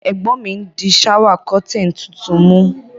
Ègbón mi n dí shower curtain tuntun mú